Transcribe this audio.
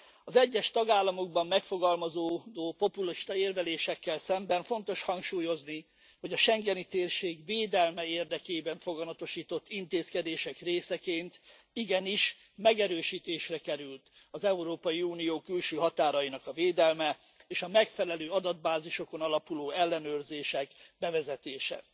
Az egyes tagállamokban megfogalmazódó populista érvelésekkel szemben fontos hangsúlyozni, hogy a schengeni térség védelme érdekében foganasított intézkedések részeként igenis megerősítésre került az Európai Unió külső határainak a védelme, és a megfelelő adatbázisokon alapuló ellenőrzések bevezetése.